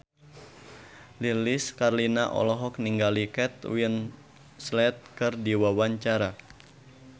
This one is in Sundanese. Lilis Karlina olohok ningali Kate Winslet keur diwawancara